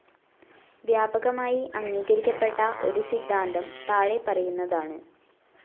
വ്യാപകമായി അംഗീകരിക്കപ്പെട്ട ഒരു സിദ്ധാന്തം താഴെ പറയുന്നതാണ്.